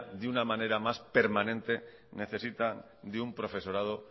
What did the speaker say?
de una manera más permanente necesita de un profesorado